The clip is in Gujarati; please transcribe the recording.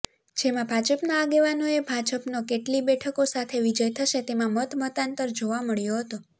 જેમાં ભાજપના આગેવાનોએ ભાજપનો કેટલી બેઠકો સાથે વિજય થશે તેમાં મતમતાંતર જોવા મળ્યો હતો